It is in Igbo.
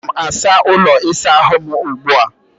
Ana m asa ụlọ ịsa ahụ m ugbu a